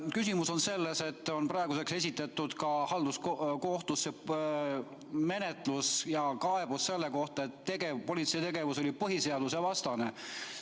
Küsimus on selles, et praeguseks on esitatud halduskohtusse kaebus selle kohta, et politsei tegevus oli põhiseadusvastane.